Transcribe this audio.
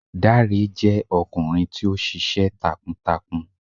Dàré jẹ ọkunrin ti o ṣiṣẹ takuAgboya jẹ ọkunrin ti o ṣiṣẹ takuǹtakuǹ